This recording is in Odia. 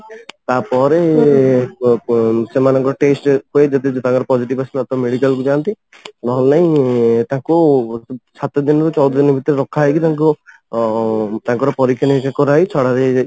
ତାପରେ ସେମାନଙ୍କ test ହୁଏ ଯଦି ତାଙ୍କ positive ଆସିଲା ତ ମେଡିକାଲ କୁ ଯାଆନ୍ତି ନହେଲେ ନାହିଁ ତାଙ୍କୁ ସାତ ଦିନରୁ ଚଉଦ ଦିନ ଭିତରେ ରଖା ହେଇକି ତାଙ୍କୁ ଉମ ତାଙ୍କର ପରୀକ୍ଷା ନିରୀକ୍ଷା କରାହେଇ ଛଡା ଯାଇ